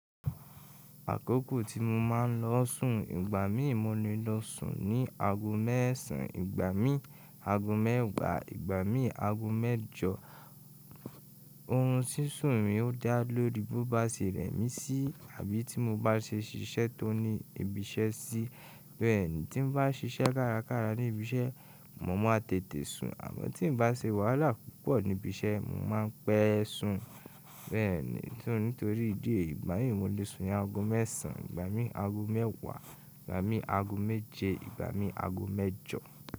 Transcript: Àkókò tí mo máa ń lọ sùn, ìgbà mí mo lè lọ sùn ni aago mẹ́sàn, ìgbà mí aago mẹ́wàá, ìgbà mí aago mẹ́jọ. Orun sí sùn mi ó dá lórí bó bá ṣe rẹ̀ mí sí, àbí tí mo bá ṣe ṣiṣẹ́ tó ní ibi iṣẹ́ sí. Bẹ́ẹ̀ ni tí n bá ṣiṣẹ́ kárakára ní ibi iṣẹ́, mo máa tètè sun. Àmọ́ tí n bá ṣe wàhálà púpọ̀ ní ibi iṣẹ́, mo máa ń pẹ́ sun. Bẹ́ẹ̀ ni, torí ìdí eyì, ìgbà mí mo lè sun ní aago mẹ́sàn, ìgbà mí aago mẹ́wàá, ìgbà mí aago méje, ìgbà mí aago mẹ́jọ.